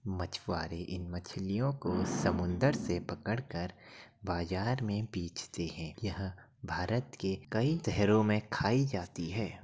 मछवारे इन मछलियों को समुन्दर से पकड़ कर बाज़ार में बेचते हैं यह भारत के कई तहरों में खाई जाती है।